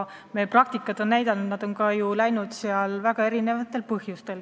Elu on näidanud, et nad on ju valitsusest lahkunud väga erinevatel põhjustel.